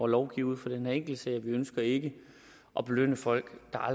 lovgive ud fra den her enkeltsag vi ønsker ikke at belønne folk